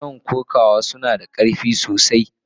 Mason kokawa suna da karfi sosai.